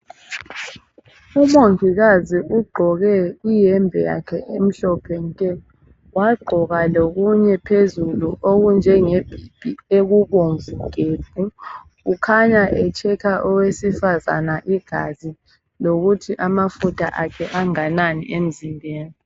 Umongikazi ugqoke iyembe yakhe emhlophe nke, wagqoka lokunye phezulu okunje ngebhibhi ukhanya ehlola owesifazane igazi lokuthi amafutha akhe anganani emzimbeni.